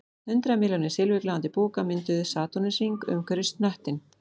Hundrað milljónir silfurgljáandi búka mynduðu satúrnusarhring umhverfis hnöttinn